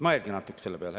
Mõelge natukene selle peale.